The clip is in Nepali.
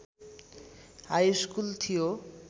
हाइस्कुल थियो।